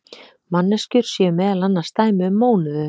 Manneskjur séu meðal annars dæmi um mónöður.